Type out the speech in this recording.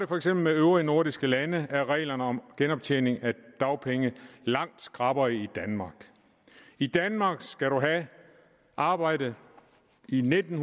for eksempel øvrige nordiske lande er reglerne om genoptjening af dagpenge langt skrappere i danmark i danmark skal man have arbejdet i nitten